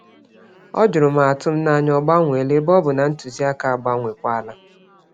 Ọ jụrụ ma atụmanya ọ gbanwela, ebe ọbu na ntụziaka agbanwekwala